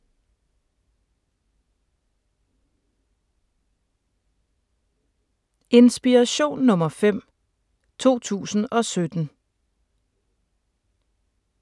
Inspiration nr. 5, 2017